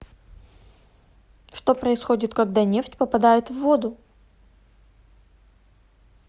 что происходит когда нефть попадает в воду